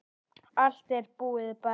Allt er búið, barn.